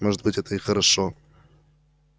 может быть это и хорошо